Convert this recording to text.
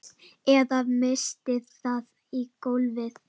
Eða missti það í gólfið.